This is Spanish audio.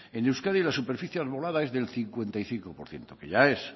en euskadi la superficie arbolada es del cincuenta y cinco por ciento que ya es